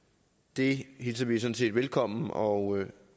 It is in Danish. det hilser vi sådan set velkommen og